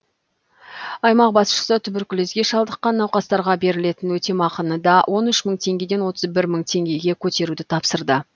аймақ басшысы түберкүлезге шалдыққан науқастарға берілетін өтемақыны да он үш мың теңгеден отыз бір мың теңгеге көтеруді тапсырды